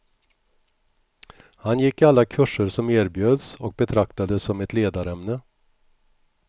Han gick alla kurser som erbjöds och betraktades som ett ledarämne.